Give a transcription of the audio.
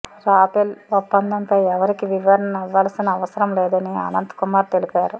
Rafale ఒప్పందంపై ఎవరికి వివరణ ఇవ్వాల్సిన అవసరం లేదని అనంత్ కుమార్ తెలిపారు